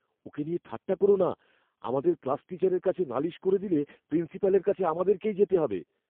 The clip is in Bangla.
ওকে নিয়ে ঠাট্টা করো না। আমাদের ক্লাস টিচারের কাছে নালিশ করে দিলে প্রিন্সিপালের কাছে আমাদেরকেই যেতে হবে।